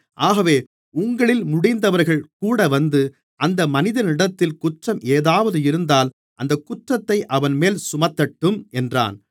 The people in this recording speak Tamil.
ஆகவே உங்களில் முடிந்தவர்கள் கூடவந்து அந்த மனிதனிடத்தில் குற்றம் ஏதாவது இருந்தால் அந்தக் குற்றத்தை அவன்மேல் சுமத்தட்டும் என்றான்